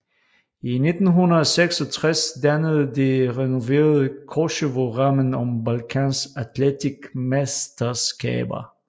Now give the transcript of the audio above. I 1966 dannede det renoverede Koševo rammen om Balkans atletikmesterskaber